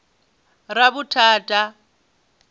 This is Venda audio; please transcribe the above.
ravhuthata